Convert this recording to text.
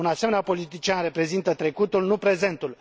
Un asemenea politician reprezintă trecutul, nu prezentul.